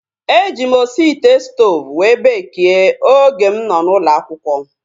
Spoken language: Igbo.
E ji m osi ite stoovu wee beekie oge m nọ n'ụlọ akwụkwọ